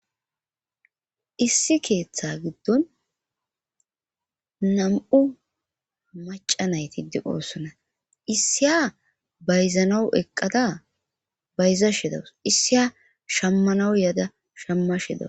Issi keeththa giddon nam'u maca nayti di oossona issiya bayzanawu eqqada bayza shedawus issiya shammanau yaada shamma shedas.